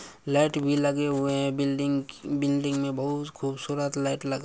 light भी लगे हुए बिल्डिंग बिल्डिंग मे बहुत खूबसूरत लाइट लगा--